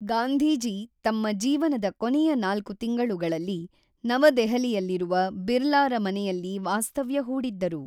ಗಾಂಧೀಜಿ ತಮ್ಮ ಜೀವನದ ಕೊನೆಯ ನಾಲ್ಕು ತಿಂಗಳುಗಳಲ್ಲಿ ನವದೆಹಲಿಯಲ್ಲಿರುವ ಬಿರ್ಲಾರ ಮನೆಯಲ್ಲಿ ವಾಸ್ತವ್ಯ ಹೂಡಿದ್ದರು.